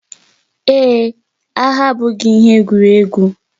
Ee, agha abụghị ihe egwuregwu.